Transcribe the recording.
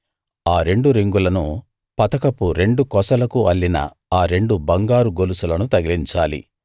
ఆ రెండు రింగులను పతకపు రెండు కొసలకు అల్లిన ఆ రెండు బంగారు గొలుసులను తగిలించాలి